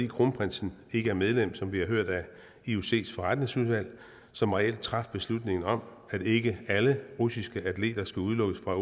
kronprinsen ikke medlem som vi har hørt af iocs forretningsudvalg som reelt traf beslutningen om at ikke alle russiske atleter skulle udelukkes fra